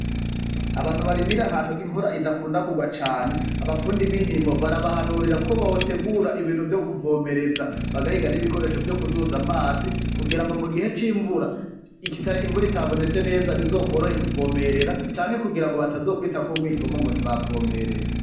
Abantu barimira ahantu imvura idakunda kugwa cane, abafundi b'indimo barabahanurira ko botegura ibintu vyo kuvomereza bagahiga n'ibikoresho vyo kuduza amazi kugira ngo mugihe c'imvura igihe imvura itabonetse neza bizokworohe kuvomerera canke kugira ngo batazokwitako umwikomo ngo ntibavomereye.